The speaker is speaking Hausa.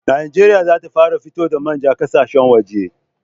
Najeriya za ta fara fito da manja ƙasashen waje